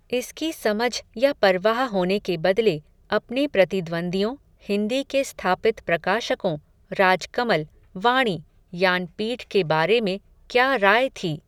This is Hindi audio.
इसकी समझ या परवाह होने के बदले, अपने प्रतिद्वंदियों, हिंदी के स्थापित प्रकाशकों, राजकमल, वाणी, यानपीठ के बारे में, क्या राय थी